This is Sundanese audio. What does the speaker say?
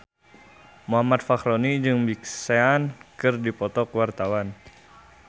Muhammad Fachroni jeung Big Sean keur dipoto ku wartawan